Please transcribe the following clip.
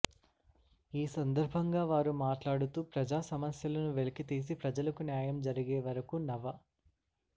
ఈ సందర్బంగా వారు మాట్లాడుతూ ప్రజా సమస్యలను వెలికితీసి ప్రజలకు న్యాయం జరిగేవరకు నవ